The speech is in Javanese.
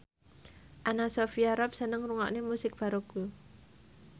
Anna Sophia Robb seneng ngrungokne musik baroque